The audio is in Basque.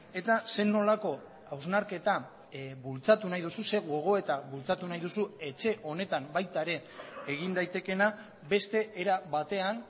eta zer nolako hausnarketa bultzatu nahi duzu ze gogoeta bultzatu nahi duzu etxe honetan baita ere egin daitekeena beste era batean